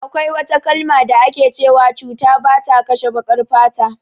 Akwai wata kalma da ake cewa cuta bata kashe baƙar fata